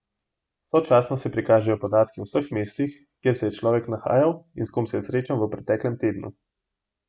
Sočasno se prikažejo podatki o vseh mestih, kjer se je človek nahajal in s kom se je srečal v preteklem tednu.